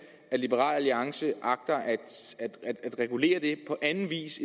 liberal alliance agter at regulere det på anden vis